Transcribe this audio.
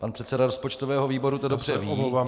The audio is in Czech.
Pan předseda rozpočtového výboru to dobře ví.